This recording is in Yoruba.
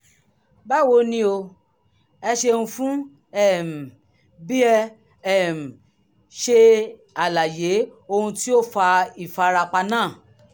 báwo ni o? ẹ ṣeun fún um bí ẹ um ṣe ṣàlàyé ohun tó fa ìfarapa náà